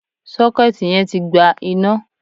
Sọ́kẹ́ẹ̀tì yẹn tí gba iná.